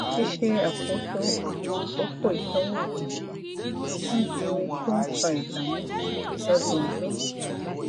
ṣíṣe àkóso àwọn àkókò ìsanwó gbèsè ń di ohun tó ń fa ìdààmú sí i lọdọọdún